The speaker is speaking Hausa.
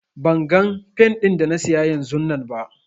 Ban gan fen din da na siya yanzunnan ba.